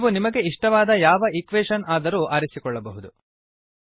ನೀವು ನಿಮಗೆ ಇಷ್ಟವಾದ ಯಾವ ಈಕ್ವೆಷನ್ಸಮೀಕರಣ ಆದರೂ ಆರಿಸಿಕೊಳ್ಳಬಹುದು